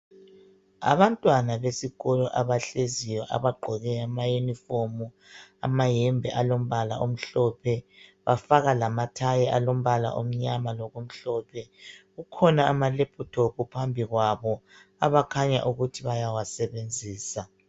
Abantwana besikolo abahleziyo abagqoke amayinifomu. Amayembe alombala omhlophe, bafaka lamathayi alombala omnyama lokumhlophe. Kukhona amalephuthophu phambi kwabo, abakhanya ukuthi bayawasebenzisa.